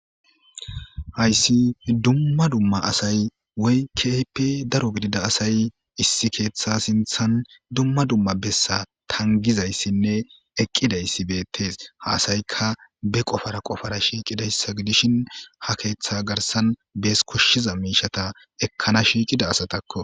hayssi dumma dumma asay woykkehippe daro gidida asay issi keeththa sinthan dumma dumma bessa tangizayssinne eqqidayssi beettees haasaykka be qofara qofara shiiqidayssa gidishin ha keeththa garsan bees koshshiza miishata ekkana shiiqida asatakko